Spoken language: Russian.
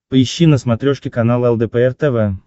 поищи на смотрешке канал лдпр тв